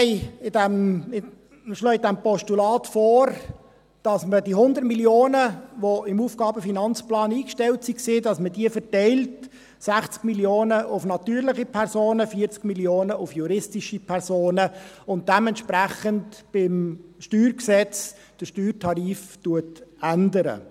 Wir schlagen in diesem Postulat vor, dass man die 100 Mio. Franken verteilt, die im AFP eingestellt waren, 60 Mio. Franken auf natürliche Personen, 40 Mio. Franken auf juristische Personen, und dementsprechend beim StG den Steuertarif ändert.